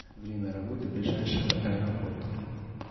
время работы ближайшего аэропорта